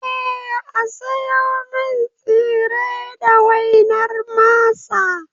Eh, A siyo min tsire da wainar masa